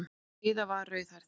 Heiða var rauðhærð.